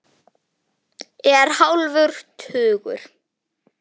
Er hálfur tugur.